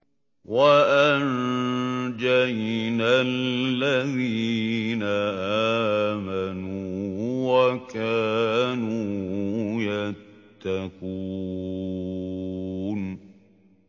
وَأَنجَيْنَا الَّذِينَ آمَنُوا وَكَانُوا يَتَّقُونَ